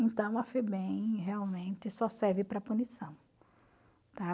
Então, a Febem realmente só serve para punição, tá?